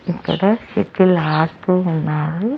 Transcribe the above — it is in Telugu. అక్కడ ఇద్దళ్లు ఆడుతూ ఉన్నారు.